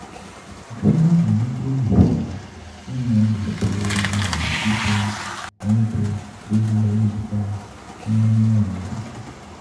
Jumia n gbòòrò sí i nínú ètò um jíjẹun oúnjẹ lórí ayélujára ní um Egypt